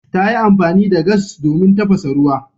Ta yi amfani da gas domin tafasa ruwa.